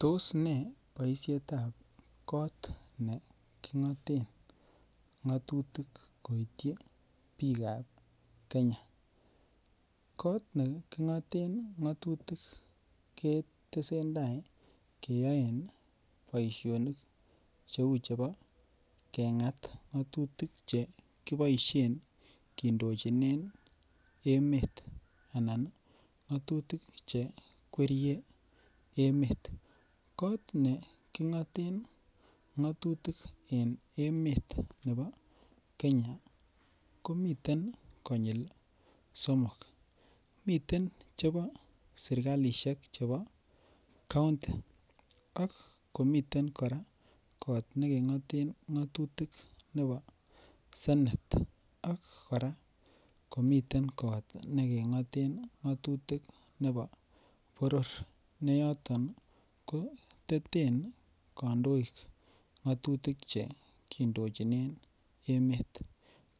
Tos ne boisietab kot nekingoten ngatutik koityi bikap Kenya kot nekingoten ngatutik ketesentai keyoen boisionik cheu chebo kengat ngatutik Che kiboisien kindochinen emet anan ngatutik Che kwerie emet kot nekingoten ngatutik en emoni bo Kenya ko miten konyil somok miten chebo serkalisiek chebo kaunti ak komiten kora kot neke ngoten ngatutik nebo senet ak kora komiten kora kot nekengoten ngatutik nebo boror ne yoton ko teten kandoik ngatutik Che kindochinen emet